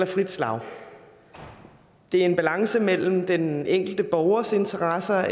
frit slag det er en balance mellem den enkelte borgers interesser